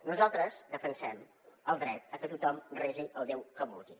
nosaltres defensem el dret a que tothom resi al déu que vulgui